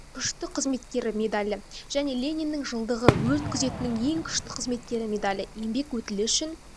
күшті қызметкері медальі және лениннің жылдығы өрт күзетінің ең күшті қызметкері медальі еңбек өтілі үшін